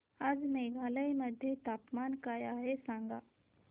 आज मेघालय मध्ये तापमान काय आहे सांगा